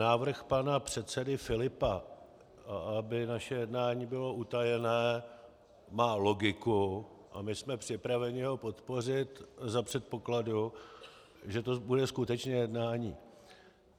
Návrh pana předsedy Filipa, aby naše jednání bylo utajené, má logiku a my jsme připraveni ho podpořit za předpokladu, že to bude skutečně jednání.